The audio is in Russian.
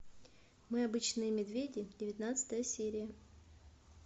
мы обычные медведи девятнадцатая серия